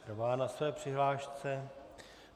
Trvá na své přihlášce.